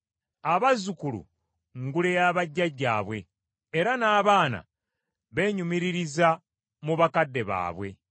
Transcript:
Abazzukulu ngule ya bajjajjaabwe, era n’abaana beenyumiririza mu bakadde baabwe.